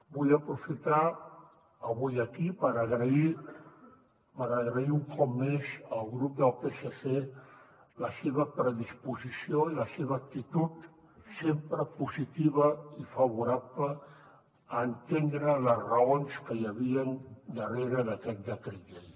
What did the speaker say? vull aprofitar avui aquí per agrair un cop més al grup del psc la seva predisposició i la seva actitud sempre positiva i favorable a entendre les raons que hi havien darrere d’aquest decret llei